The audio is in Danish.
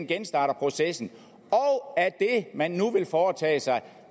genstarter processen og at man nu vil foretage sig